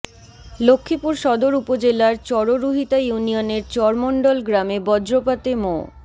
লক্ষ্মীপুর সদর উপজেলার চররুহিতা ইউনিয়নের চর মণ্ডল গ্রামে বজ্রপাতে মো